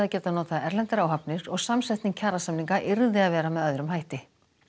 nota erlendar áhafnir og samsetning kjarasaminga yrði að vera með öðrum hætti